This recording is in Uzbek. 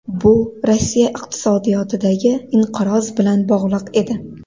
Bu Rossiya iqtisodiyotidagi inqiroz bilan bog‘liq edi.